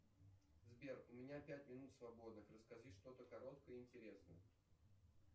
сбер у меня пять минут свободных расскажи что то короткое и интересное